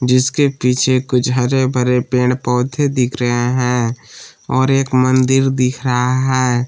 जिसके पीछे कुछ हरे भरे पेड़ पौधे दिख रहे हैं और एक मंदिर दिख रहा है।